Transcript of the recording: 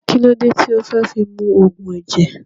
Kílódé tí o fí ń mu Ògùn ẹ̀jẹ̀